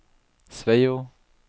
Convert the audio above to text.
Sveio